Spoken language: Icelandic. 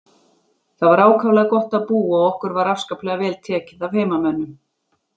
Þar var ákaflega gott að búa og okkur var afskaplega vel tekið af heimamönnum.